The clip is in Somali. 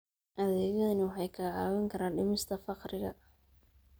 Adeegyadani waxay kaa caawin karaan dhimista faqriga.